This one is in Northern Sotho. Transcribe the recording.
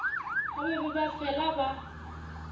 ba be ba fela ba